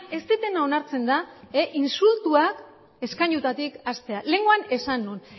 ez dudana onartzen da insultoak eskainuetatik hastea lehengoan esan nuen